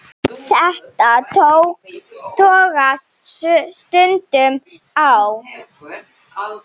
Þetta togast stundum á.